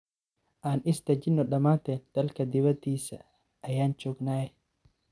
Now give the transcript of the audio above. Aan isdajino dhamanteen dalka diwadisaa ayan jognhye .